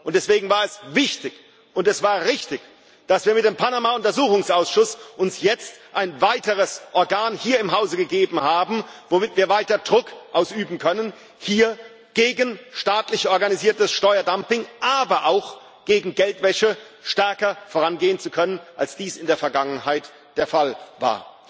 Deswegen war es wichtig und es war richtig, dass wir uns mit dem Panama Untersuchungsausschuss jetzt ein weiteres Organ hier im Hause gegeben haben, mit dem wir weiter Druck ausüben können, hier gegen staatlich organisiertes Steuerdumping, aber auch gegen Geldwäsche stärker vorangehen zu können, als dies in der Vergangenheit der Fall war.